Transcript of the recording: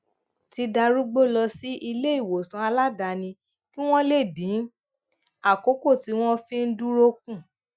ti darúgbó lọ sí iléìwòsàn aladaani kí wón lè dín àkókò tí wón fi ń dúró kù